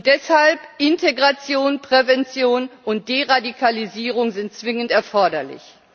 Deshalb sind Integration, Prävention und Deradikalisierung zwingend erforderlich.